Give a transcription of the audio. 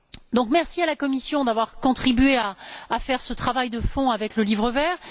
Donc, merci à la Commission d'avoir contribué à faire ce travail de fond avec le Livre vert.